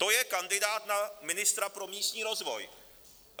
To je kandidát na ministra pro místní rozvoj.